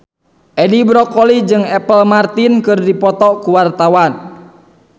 Edi Brokoli jeung Apple Martin keur dipoto ku wartawan